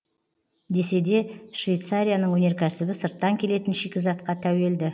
десе де швейцарияның өнеркәсібі сырттан келетін шикізатқа тәуелді